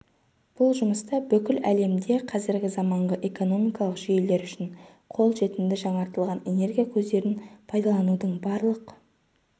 бұл жұмыста бүкіл әлемде қазіргі заманғы экономикалық жүйелер үшін қол жетімді жаңартылатын энергия көздерін пайдаланудың барлық